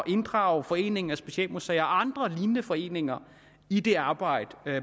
inddrage foreningen af specialmuseer andre lignende foreninger i det arbejde